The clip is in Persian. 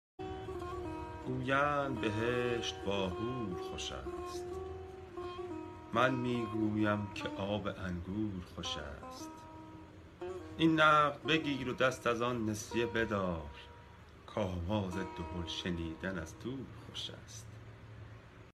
گویند کسان بهشت با حور خوش است من می گویم که آب انگور خوش است این نقد بگیر و دست از آن نسیه بدار که آواز دهل شنیدن از دور خوش است